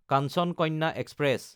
Kanchan Kanya express